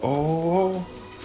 оо